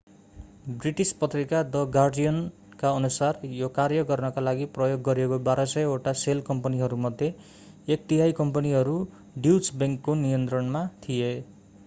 British पत्रिका the गार्जियनका अनुसार यो कार्य गर्नका लागि प्रयोग गरिएका 1200 वटा सेल कम्पनीहरूमध्ये एक तिहाइ कम्पनीहरू ड्युच बैंकको नियन्त्रणमा थिए